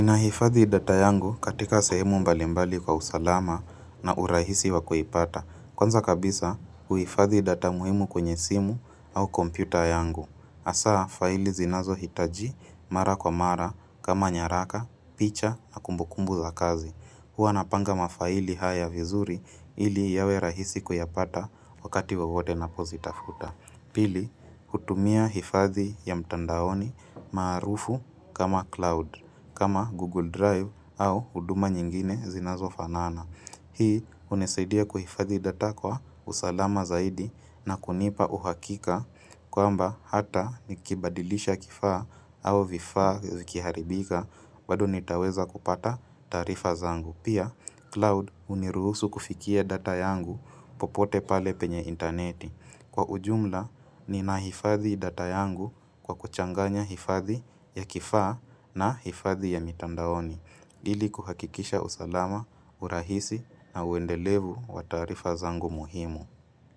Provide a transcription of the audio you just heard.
Ninahifadhi data yangu katika sehemu mbali mbali kwa usalama na urahisi wakuipata. Kwanza kabisa, huifadhi data muhimu kwenye simu au kompyuta yangu. Hasaa, faili zinazohitaji mara kwa mara kama nyaraka, picha na kumbukumbu za kazi. Huwa napanga mafaili haya vizuri ili yawe rahisi kuyapata wakati wowote napozitafuta. Pili, hutumia hifadhi ya mtandaoni maarufu kama cloud, kama Google Drive au huduma nyingine zinazofanana. Hii hunisaidia kuhifadhi data kwa usalama zaidi na kunipa uhakika kwamba hata nikibadilisha kifaa au vifaa zikiharibika bado nitaweza kupata taarifa zangu. Pia, cloud huniruhusu kufikia data yangu popote pale penye interneti. Kwa ujumla, ninahifadhi data yangu kwa kuchanganya hifadhi ya kifaa na hifadhi ya mitandaoni. Ili kuhakikisha usalama, urahisi na uendelevu wa taarifa zangu muhimu.